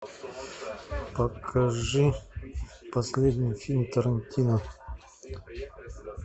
покажи последний фильм тарантино